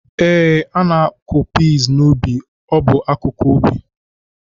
Ee, ana-akụ pesi n’ubi, ọ bụ akụkụ ubi